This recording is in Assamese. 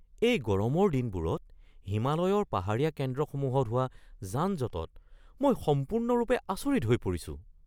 এই গৰমৰ দিনবোৰত হিমালয়ৰ পাহাৰীয়া কেন্দ্ৰসমূহত হোৱা যানজঁটত মই সম্পূৰ্ণৰূপে আচৰিত হৈ পৰিছোঁ!